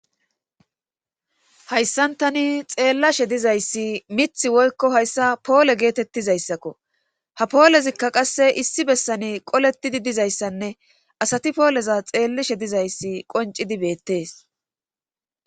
Hayssan tani xeellashe dizayssi mith woykko hayssa poole geetettizayssakko ha poolezikka qasse issi bessane qoletidi dizayssanne asati pooleza xeellashe dizayssi qoncidi beettees.